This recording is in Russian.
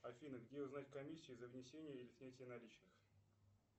афина где узнать комиссии за внесение или снятие наличных